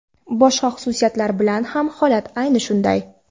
Boshqa xususiyatlar bilan ham holat ayni shunday.